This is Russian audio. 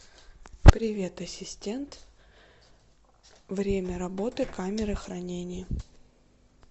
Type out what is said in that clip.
привет ассистент время работы камеры хранения